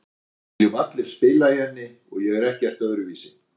Við viljum allir spila í henni og ég er ekkert öðruvísi.